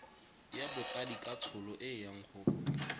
ya botsadikatsholo e yang go